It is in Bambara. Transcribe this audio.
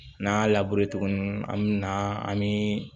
N'an y'a tuguni an mɛna an bi